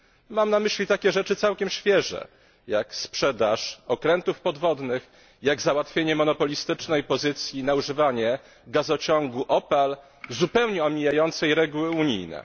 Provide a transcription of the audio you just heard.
Mam na myśli takie rzeczy całkiem świeże, jak sprzedaż okrętów podwodnych, załatwienie monopolistycznej pozycji na używanie gazociągu Opal zupełnie omijającej reguły unijne.